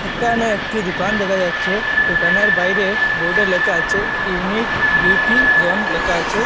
একানে একটি দুকান দেখা যাচ্ছে দোকানের বাইরে বোর্ডে লেখা আছে ইউনিট বিউটি জোন লেখা আছে।